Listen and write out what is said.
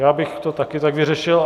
Já bych to také tak vyřešil.